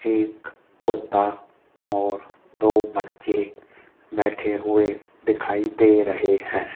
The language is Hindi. एक कुत्ता और दो बच्चे बैठे हुए दिखाई दे रहे है।